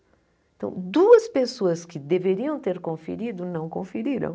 Então, duas pessoas que deveriam ter conferido não conferiram.